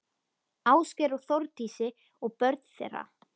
Ásgeir og Þórdísi og börn þeirra.